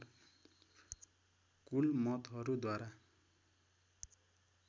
कुल मतहरू द्वारा